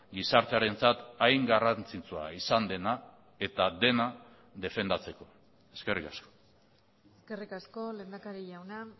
gizartearentzat hain garrantzitsua izan dena eta dena defendatzeko eskerrik asko eskerrik asko lehendakari jauna